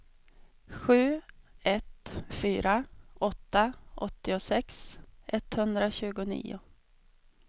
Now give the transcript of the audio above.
sju ett fyra åtta åttiosex etthundratjugonio